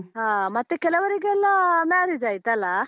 ಹಾ, ಮತ್ತೆ ಕೆಲವರಿಗೆಲ್ಲ marriage ಆಯ್ತ್ ಅಲಾ?